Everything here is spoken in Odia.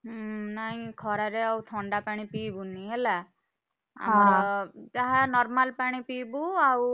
ହୁଁ ନାଇଁ ଖରାରେ ଆଉ ଥଣ୍ଡା ପାଣି ପିଇବୁନି ହେଲା ଯାହା normal ପାଣି ପିଇବୁ ଆଉ,